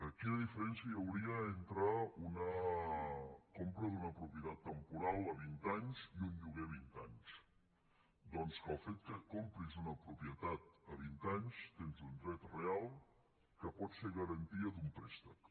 quina diferència hi hauria entre una compra d’una propietat temporal a vint anys i un lloguer a vint anys doncs que pel fet que compris una propietat a vint anys tens un dret real que pot ser garantia d’un préstec